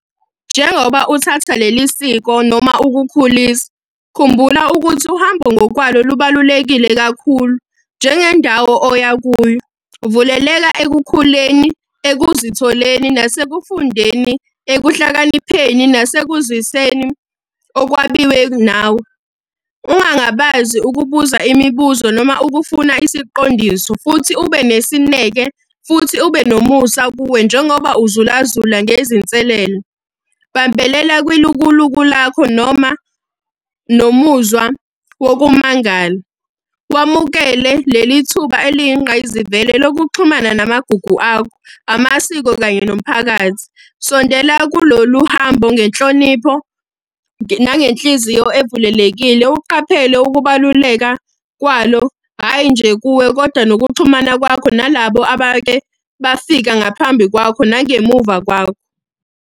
Njengoba uthatha leli siko noma ukukhulisa, khumbula ukuthi uhambo ngokwalo lubalulekile kakhulu njengendawo oya kuyo. Vuleleka ekukhuleni, ekuzitholeni, nasekufundeni, ekuhlakanipheni, nasekuzwiseni okwabiwe nawe. Ungangabazi ukubuza imibuzo noma ukufuna isiqondiso, futhi ube nesineke, futhi ube nomusa kuwe njengoba uzula zula ngezinselele. Bambelela kwilukuluku lakho noma nomuzwa wokumangala. Wamukele leli thuba eliyinqayizivele lokuxhumana namagugu akho, amasiko kanye nomphakathi. Sondela kulolu hambo ngenhlonipho, nangenhliziyo evulelekile, uqaphele ukubaluleka kwalo, hhayi nje kuwe, kodwa nokuxhumana kwakho nalabo abake bafika ngaphambi kwakho nangemuva kwakho.